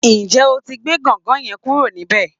Ǹjé o ti gbé gangan yẹn kúrò níbẹ̀?